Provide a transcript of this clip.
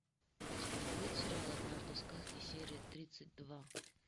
у тебя будет сериал однажды в сказке серия тридцать два